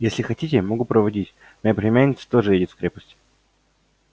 если хотите могу проводить моя племянница тоже едет в крепость